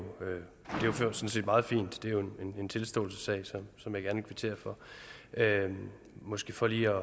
sådan set meget fint det er jo en tilståelsessag som jeg gerne kvitterer for måske for lige